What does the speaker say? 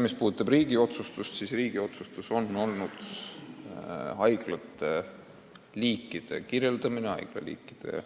Mis puudutab riigi otsuseid, siis riigi otsus on olnud haiglaliikide kirjeldamine haiglaliikide